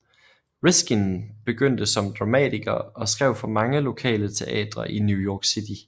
Riskin begyndte som dramatiker og skrev for mange lokale teatre i New York City